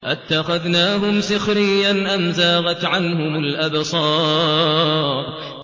أَتَّخَذْنَاهُمْ سِخْرِيًّا أَمْ زَاغَتْ عَنْهُمُ الْأَبْصَارُ